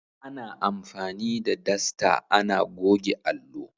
Ana anfani da dasta ana goge allo.